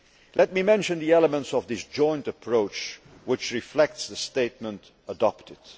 Let me mention the elements of this joint approach, which reflects the statement adopted.